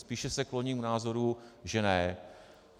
Spíše se kloním k názoru, že ne.